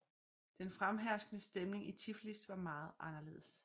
Den fremherskende stemning i Tiflis var meget anderledes